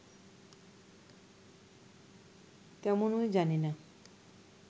তেমনই জানি না